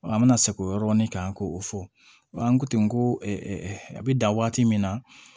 An bɛna sɛgɛn o yɔrɔ nin kan k'o fɔ an ko ten ko a bɛ dan waati min na